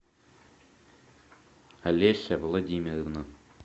олеся владимировна